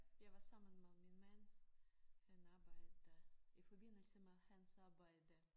Jeg var sammen med min mand han arbejder i forbindelse med hans arbejde